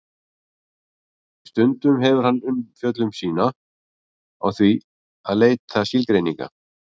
Stundum hefur hann umfjöllun sína á því að leita skilgreininga.